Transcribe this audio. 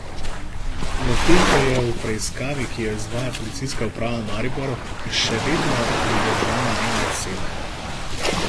Medtem pa je v preiskavi, ki jo izvaja Policijska uprava Maribor, še vedno pridržana ena oseba.